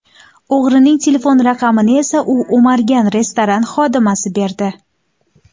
O‘g‘rining telefon raqamini esa u o‘margan restoran xodimasi berdi.